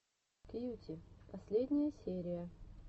кьюти последняя серия